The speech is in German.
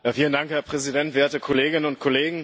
Herr Präsident, werte Kolleginnen und Kollegen!